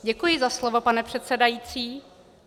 Děkuji za slovo, pane předsedající.